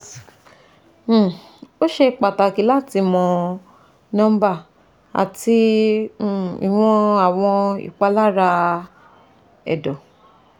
um O ṣe pataki lati mọ nọmba ati um iwọn awọn ipalara ẹdọ